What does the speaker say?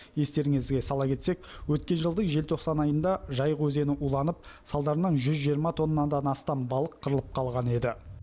естеріңізге сала кетсек өткен жылдың желтоқсан айында жайық өзені уланып салдарынан жүз жиырма тоннадан астам балық қырылып қалған еді